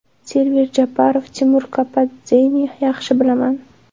Server Jeparov: Timur Kapadzeni yaxshi bilaman.